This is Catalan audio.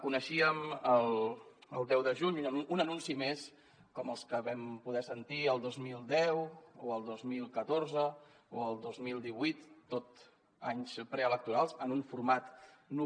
coneixíem el deu de juny un anunci més com els que vam poder sentir el dos mil deu el dos mil catorze o el dos mil divuit tot anys preelectorals en un format nou